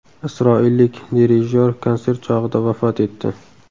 Isroillik dirijyor konsert chog‘ida vafot etdi.